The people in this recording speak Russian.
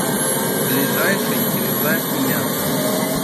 ближайший кинза и мята